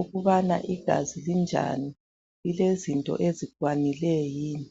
ukubana igazi linjani ukuthi lilezinto ezukwanileyo yini.